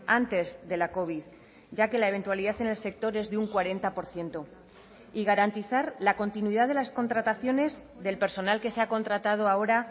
antes de la covid ya que la eventualidad en el sector es de un cuarenta por ciento y garantizar la continuidad de las contrataciones del personal que se ha contratado ahora